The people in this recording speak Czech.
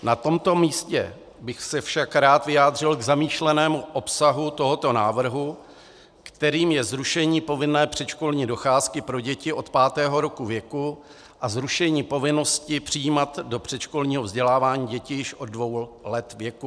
Na tomto místě bych se však rád vyjádřil k zamýšlenému obsahu tohoto návrhu, kterým je zrušení povinné předškolní docházky pro děti od pátého roku věku a zrušení povinnosti přijímat do předškolního vzdělávání děti již od dvou let věku.